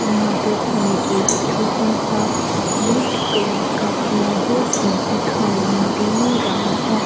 यहां पर हमें एक छोटा सा रेड कलर का फ्लावर भी दिखाई दे रहा है।